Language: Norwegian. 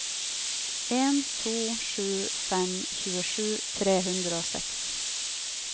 en to sju fem tjuesju tre hundre og seks